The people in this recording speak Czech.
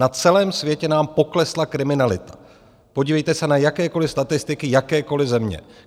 Na celém světě nám poklesla kriminalita, podívejte se na jakékoliv statistiky jakékoliv země.